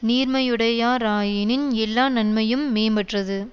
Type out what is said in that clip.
நீர்மையுடையா ராயினின் எல்லா நன்மையும் மேம்பெற்றது